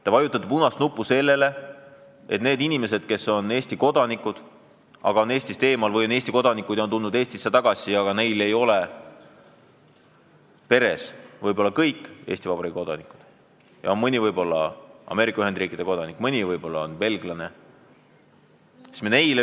Te vajutate punast nuppu, et öelda "ei" Eesti kodanikele, kes on Eestist eemal, ja Eesti kodanikele, kes on tulnud Eestisse tagasi, aga nende peres ei ole kõik Eesti Vabariigi kodanikud – mõni on võib-olla Ameerika Ühendriikide kodanik, mõni on võib-olla Belgia kodanik.